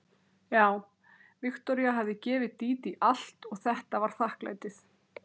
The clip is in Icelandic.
Já, Viktoría hafði gefið Dídí allt og þetta var þakklætið.